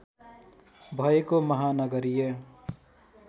भएको महानगरीय